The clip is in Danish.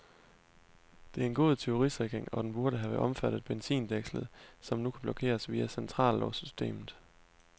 Det er en god tyverisikring, og den burde have omfattet benzindækslet, som nu kun blokeres via centrallåssystemet.